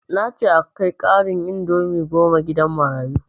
Nace a kai karan ɗin indomie goma gidan marayu jiya